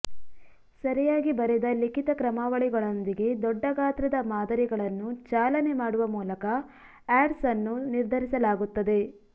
ಸರಿಯಾಗಿ ಬರೆದ ಲಿಖಿತ ಕ್ರಮಾವಳಿಗಳೊಂದಿಗೆ ದೊಡ್ಡ ಗಾತ್ರದ ಮಾದರಿಗಳನ್ನು ಚಾಲನೆ ಮಾಡುವ ಮೂಲಕ ಆಡ್ಸ್ ಅನ್ನು ನಿರ್ಧರಿಸಲಾಗುತ್ತದೆ